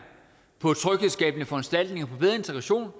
på tryghedsskabende foranstaltninger for bedre integration